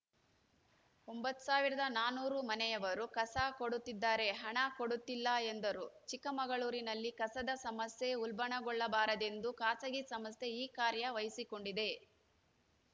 ಒಂಬತ್ತ್ ಸಾವಿರದ ನಾನೂರು ಮನೆಯವರು ಕಸ ಕೊಡುತ್ತಿದ್ದಾರೆ ಹಣ ಕೊಡುತ್ತಿಲ್ಲ ಎಂದರು ಚಿಕ್ಕಮಗಳೂರಿನಲ್ಲಿ ಕಸದ ಸಮಸ್ಯೆ ಉಲ್ಭಣಗೊಳ್ಳಬಾರದೆಂದು ಖಾಸಗಿ ಸಂಸ್ಥೆ ಈ ಕಾರ್ಯ ವಹಿಸಿಕೊಂಡಿದೆ